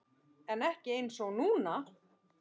En ekki einsog núna.